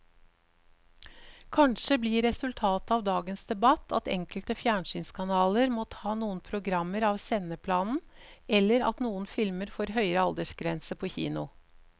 Kanskje blir resultatet av dagens debatt at enkelte fjernsynskanaler må ta noen programmer av sendeplanen eller at noen filmer får høyere aldersgrense på kino.